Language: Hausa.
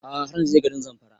A'a har na je garin Zamfara